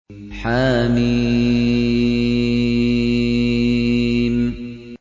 حم